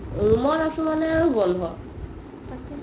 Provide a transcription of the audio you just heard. room আছো মানে আৰু বন্ধো